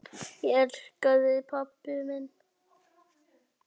Ég elska þig pabbi minn.